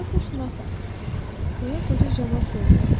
Mən coğrafiyaşünasam, deyə qoca cavab verdi.